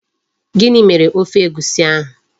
Gini mere Ofe Egwusi ahu?